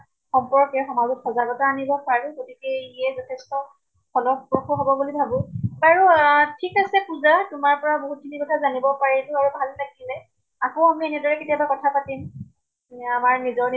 সম্পৰ্কে সমাজত সজাগ্তা আনিব পাৰো। গতিকে ইয়ে যথেষ্ট ফলপ্ৰসু হʼব বুলি ভাবো। বাৰু আহ ঠিক আছে পুজা, তোমাৰ পৰা বহুত খিনি কথা জানিব পাৰিলো আৰু ভাল লাগিলে। আকৌ আমি এইদৰে কেতিয়াবা কথা পাতিম। নে আমাৰ নিজৰ নি